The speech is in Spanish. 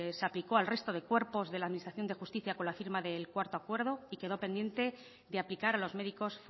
se aplicó al resto de cuerpos de la administración de justicia con la firma del cuarto acuerdo y quedó pendiente de aplicar los médicos